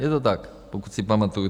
Je to tak, pokud si pamatuji.